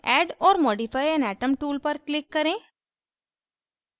add or modify an atom tool पर click करें